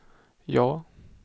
ja